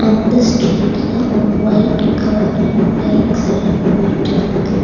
இந்த ஸ்ட்ரீட்ல ஒரு ஒயிட் கார் அண்ட் பைக்ஸ் எல்லா போயிட்டிருக்கு.